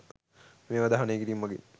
මේවා දහනය කිරීම මගින්